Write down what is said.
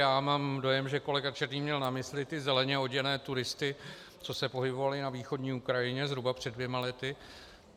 Já mám dojem, že kolega Černý měl na mysli ty zeleně oděné turisty, co se pohybovali na východní Ukrajině zhruba před dvěma lety.